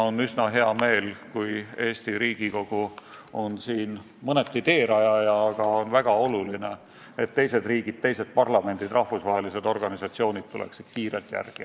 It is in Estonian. On üsna hea meel, kui Eesti Riigikogu on siin mõneti teerajaja, aga on väga oluline, et teised riigid, teised parlamendid ja rahvusvahelised organisatsioonid tuleksid kiirelt järele.